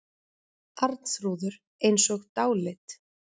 Arnþrúður eins og dáleidd.